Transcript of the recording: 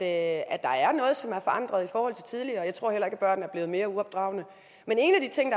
at der er noget som er forandret i forhold til tidligere og jeg tror heller ikke at børn er blevet mere uopdragne men en af de ting